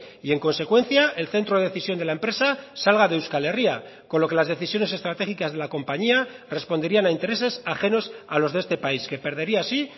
y en consecuencia el centro de decisión de la empresa salga de euskal herria con lo que las decisiones estratégicas de la compañía responderían a intereses ajenos a los de este país que perdería así